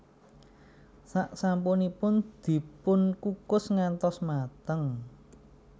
Sak sampunipun dipunkukus ngantos mateng